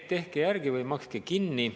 Tehke järgi või makske kinni.